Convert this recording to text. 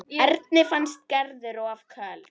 Erni fannst Gerður of köld.